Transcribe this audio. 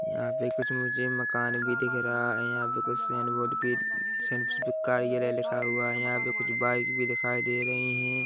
यहाँ पे कुछ मुझे मकान भी दिख रहा है यहाँ पे कुछ सेन बोर्ड भी पे कार्यालय लिखा हुआ है यहाँ पे कुछ बाइक भी दिखाई दे रही है।